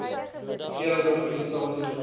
hoeveelheid organiese materiaal